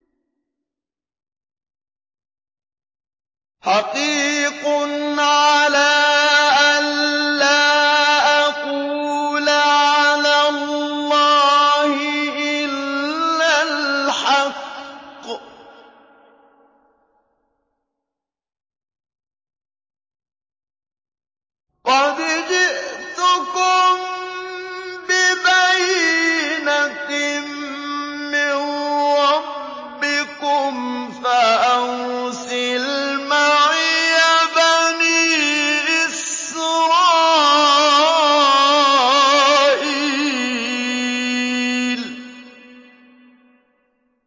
حَقِيقٌ عَلَىٰ أَن لَّا أَقُولَ عَلَى اللَّهِ إِلَّا الْحَقَّ ۚ قَدْ جِئْتُكُم بِبَيِّنَةٍ مِّن رَّبِّكُمْ فَأَرْسِلْ مَعِيَ بَنِي إِسْرَائِيلَ